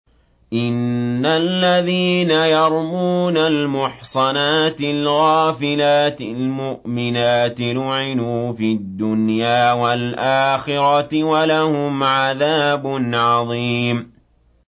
إِنَّ الَّذِينَ يَرْمُونَ الْمُحْصَنَاتِ الْغَافِلَاتِ الْمُؤْمِنَاتِ لُعِنُوا فِي الدُّنْيَا وَالْآخِرَةِ وَلَهُمْ عَذَابٌ عَظِيمٌ